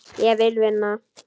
Ég vil vinna.